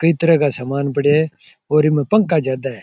कई तरह का समान पड़े है और इमे पंखा ज्यादा है।